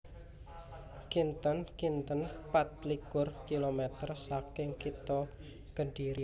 Kinten kinten pat likur kilomèter saking Kitha Kedhiri